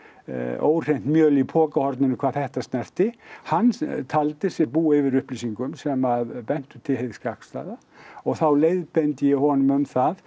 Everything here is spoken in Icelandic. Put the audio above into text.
óhreint mjöl í pokahorninu hvað þetta snerti hann taldi sig búa yfir upplýsingum sem bentu til hins gagnstæða og þá leiðbeindi ég honum um það